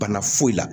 Bana foyi la